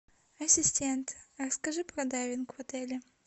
ассистент расскажи про дайвинг в отеле